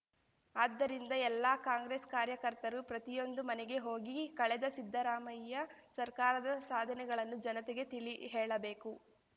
ಆದ್ದರಿಂದ ಎಲ್ಲ ಕಾಂಗ್ರೆಸ್ ಕಾರ್ಯಕರ್ತರು ಪ್ರತಿಯೊಂದು ಮನೆಗೆ ಹೋಗಿ ಕಳೆದ ಸಿದ್ದರಾಮಯ್ಯ ಸರ್ಕಾರದ ಸಾಧನೆಗಳನ್ನು ಜನತೆಗೆ ತಿಳಿಹೇಳಬೇಕು